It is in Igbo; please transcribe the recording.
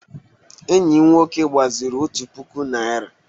Enyi m nwoke gbaziri otu puku Naịra.